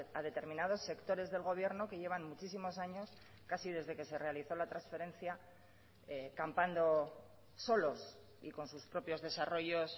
a determinados sectores del gobierno que llevan muchísimos años casi desde que se realizó la transferencia campando solos y con sus propios desarrollos